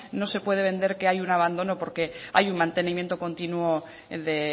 no se pude vender que hay un abandono porque hay un mantenimiento continuo de